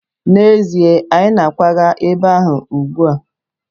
N'ezie, anyị na-akwaga ebe ahụ ugbu a.